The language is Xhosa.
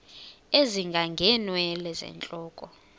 ezinga ngeenwele zentloko